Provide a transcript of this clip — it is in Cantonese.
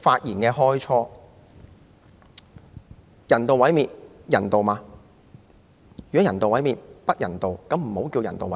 如果人道毀滅是不人道的，便不應稱為人道毀滅。